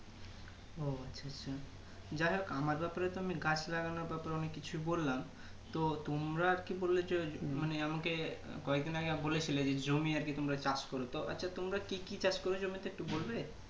যাই হোক আমার ব্যাপারে তো আমি গাছ লাগানোর কথা অনেক কিছু বললাম তো তোমরা কি বললে যে ওই মানে আমাকে কয়েকদিন আগে বলেছিলে জি জমি আরকি তোমরা চাষ করোতো আচ্ছা তোমরা কি কি চাষ করেছো আমাকে একটু বলবে